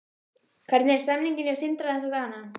Hvernig er stemningin hjá Sindra þessa dagana?